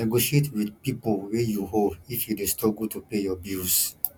negotiate wit pipo wey you owe if you dey struggle to pay your bills